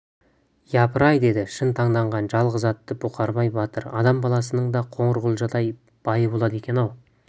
япырай деді шын таңданған жалғыз атты бұқарбай батыр адам баласының да қоңырқұлжадай байы болады екен-ау